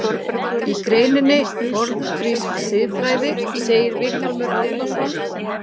Í greininni Forngrísk siðfræði segir Vilhjálmur Árnason: